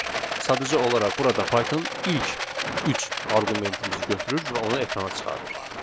Sadəcə olaraq burada Python ilk üç arqumentimizi götürür və onu ekrana çıxarır.